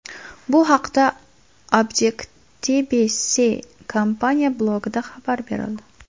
Bu haqda Objectibe-See kompaniyasi blogida xabar berildi .